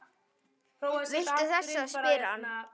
Viltu þessa? spyr hann.